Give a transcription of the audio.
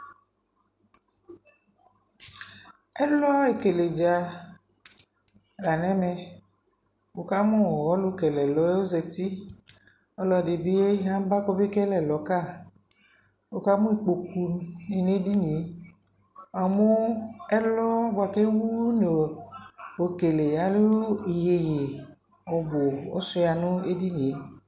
Ɛlɔ ɛkele dza la nɛ mɛWuka mu ɔlu kele ɛlɔ yɛ zati Ɔlɔ di bi ya ba kɔ mɛ kele ɛlɔ ka wuka mu ikpoku nɛ di ni yɛWua mu ɛlɔ bua ku ɛwu ɔkele ɛlu iyeye ɔbu ɔsua nu ɛdini yɛ